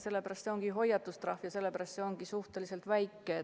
See ongi hoiatustrahv ja sellepärast see ongi suhteliselt väike.